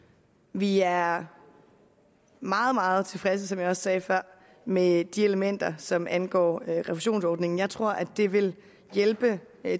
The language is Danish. vi er meget meget tilfredse som jeg også sagde før med de elementer som angår refusionsordningen jeg tror at det vil hjælpe